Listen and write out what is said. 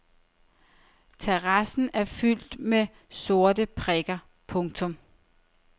Terrassen er fyldt med sorte prikker. punktum